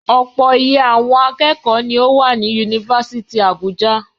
Ọ̀pọ̀ iye àwọn akẹ́kọ̀ọ́ ni ó wà ní Yunifásítì Àbújá.